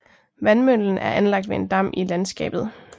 Vandmøllen er anlagt ved en dam i landskabet